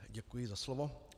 Děkuji za slovo.